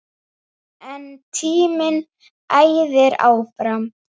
En tíminn æðir áfram.